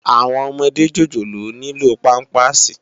Áwòn òmòdé jójólóò nilò pàmpásí